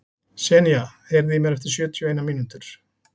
Senía, heyrðu í mér eftir sjötíu og eina mínútur.